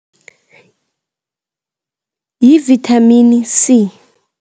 Yivithamini C.